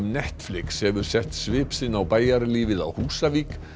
Netflix hefur sett svip sinn á bæjarlífið á Húsavík